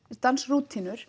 dansa